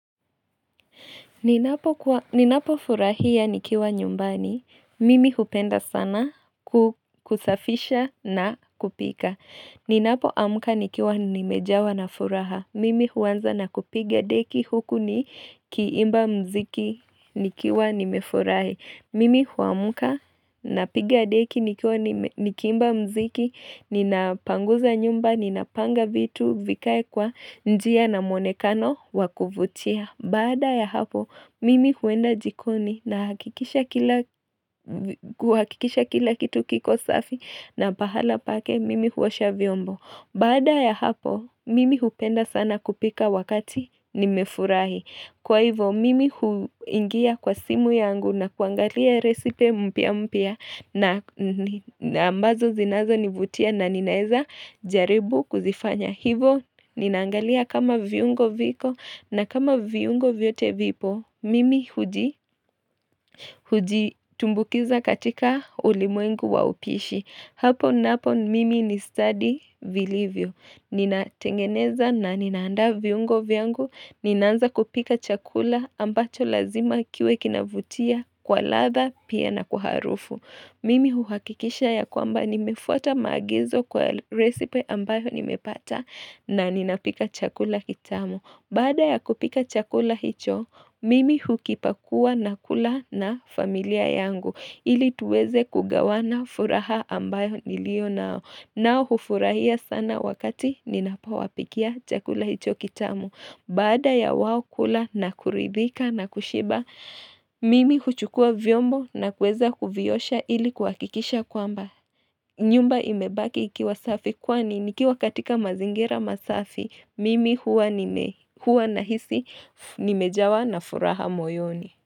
Ninapofurahia nikiwa nyumbani. Mimi hupenda sana kusafisha na kupika. Ninapoamka nikiwa nimejawa na furaha. Mimi huanza na kupiga deki huku nikiimba muziki nikiwa nimefurahi. Mimi huamka napiga deki nikiwa nikiimba muziki, ninapanguza nyumba, ninapanga vitu, vikae kwa njia na mwonekano wa kuvutia. Baada ya hapo, mimi huenda jikoni nahakikisha kila kitu kiko safi na pahala pake, mimi huosha vyombo. Baada ya hapo, mimi hupenda sana kupika wakati nimefurahi. Kwa hivo, mimi huingia kwa simu yangu na kuangalia resipe mpya mpya na ambazo zinazonivutia na ninaeza jaribu kuzifanya. Hivo, ninaangalia kama viungo viko na kama viungo vyote vipo, mimi hujitumbukiza katika ulimwengu wa upishi. Hapo napo mimi ni stadi vilivyo. Ninatengeneza na ninaandaa viungo vyangu. Ninaanza kupika chakula ambacho lazima kiwe kinavutia kwa ladha pia na kwa harufu. Mimi huhakikisha ya kwamba nimefuata maagizo kwa recipe ambayo nimepata na ninapika chakula kitamu. Baada ya kupika chakula hicho, mimi hukipakua na kula na familia yangu, ili tuweze kugawana furaha ambayo nilio nao, nao hufurahia sana wakati ninapowapikia chakula hicho kitamu. Baada ya wao kula na kuridhika na kushiba, mimi kuchukua vyombo na kuweza kuviosha ili kuhakikisha kwamba nyumba imebaki ikiwa safi kwani nikiwa katika mazingira masafi, mimi huwa nahisi nimejawa na furaha moyoni.